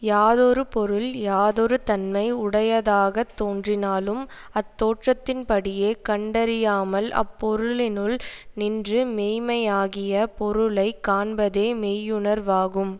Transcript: யாதொரு பொருள் யாதொரு தன்மை உடையதாகத் தோன்றினாலும் அத்தோற்றத்தின்படியே கண்டறியாமல் அப்பொருளினுள் நின்று மெய்மையாகிய பொருளை காண்பதே மெய்யுணர்வாகும்